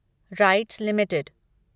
rights limited